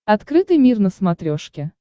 открытый мир на смотрешке